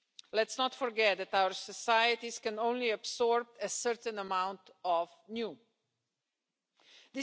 Let's not forget that our societies can only absorb a certain amount of new things.